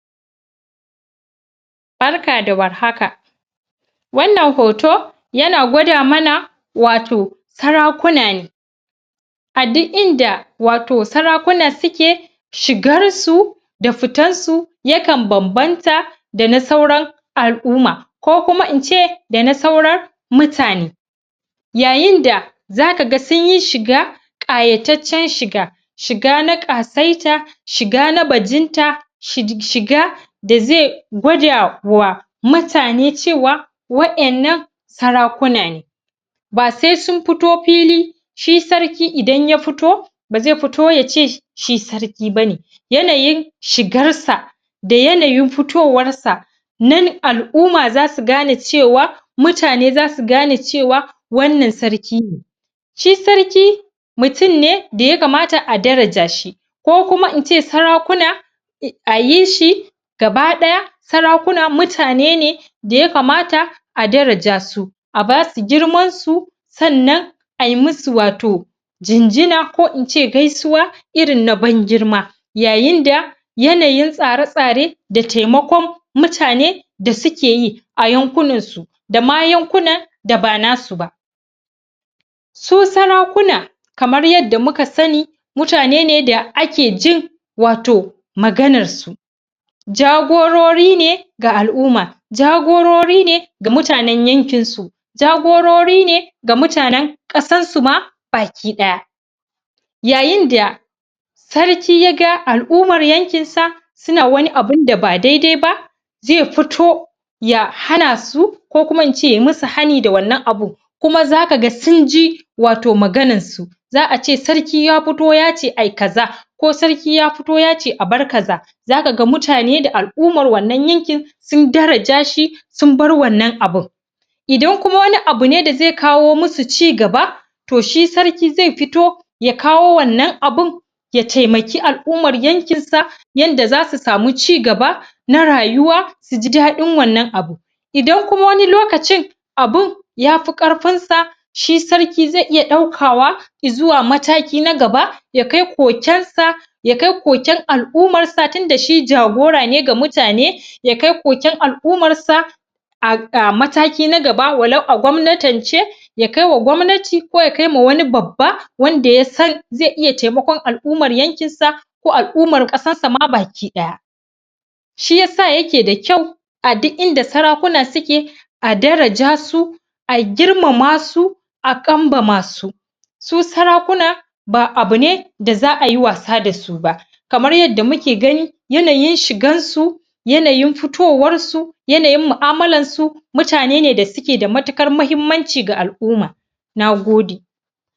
Barka da warhaka. Wannan hoto, yana gwada mana wato sarakuna ne. A duk inda wato sarakuna suke, shigar su da fitan su, ya kan bambanta da na sauran al'umma, ko kuma in ce da na saurar mutane. Yayin da za kaga sunyi shiga ƙayataccen shiga, shiga na ƙasaita, shiga na bajinta, shiga da zai gwadawa mutane cewa wa'ennan sarakuna ne. Ba sai sun fito fili, shi sarki idan ya futo, ba zai futo yace shi sarki bane. Yanayin shigar sa, da yanayin futowar sa, nan al'umma zasu gane cewa, mutane zasu gane cewa wannan sarki ne. Shi sarki, mutum ne da ya kamata a daraja shi, ko kuma in ce sarakuna a yi shi gaba ɗaya, sarakuna mutane ne da ya kamata a daraja su. A basu girman su, sannan ai musu wato jinjina, ko in ce gaisuwa irin na ban girma. Yayin da yanayin tsare-tsare, da taimakon mutane da sukeyi a yankunan su, da ma yankunan da ba nasu ba. Su sarakuna, kamar yadda muka sani, mutane ne da ake jin wato maganar su, jagorori ne ga al'umma, jagorori ne ga mutanen yankin su, jagorori ne ga mutanen ƙasan su ma baki ɗaya. Yayin da sarki ya ga al'umar yankin sa suna wani abunda ba da-dai ba, zai futo ya hana su, ko kuma in ce yayi musu hani da wannan abun, kuma za kaga sunji wato maganar su. Za a ce sarki ya futo yace ai kaza, ko sarki ya futo yace a bar kaza, za kaga mutane da al'umar wannan yankin sun daraja shi, sun bar wannan abun. Idan kuma wani abu ne da zai kawo musu cigaba, to shi sarki zai fito ya kawo wannan abun, ya taimaki al'ummar yankin sa, yanda zasu samu cigaba na rayuwa, su ji daɗin wannan abun. Idan kuma wani lokacin abun yafi ƙarfin sa, shi sarki zai iya ɗaukawa i'zuwa mataki na gaba, ya kai koken sa, ya kai koken sa, ya kai koken al'ummar sa, tunda shi jagora ne ga mutane, ya kai koken al'ummar sa a mataki na gaba, walau a gwamnatance, ya kaiwa gwamnati ko ya kaima wani babba, wanda ya san zai iya taimakon al'ummar yankin sa, ko al'umar ƙasarsa ma baki ɗaya. Shi yasa yake da kyau a duk inda sarakuna suke, a daraja su, a girmama su, a ƙanbama su. Su sarakuna ba abu ne da za ayi wasa dasu ba. Kamar yadda muke gani, yanayin shigan su, yanayin futowar su, yanayin mu'amalar su, mutane ne da suke da matuƙar mahimmanci ga al'umma. Nagode.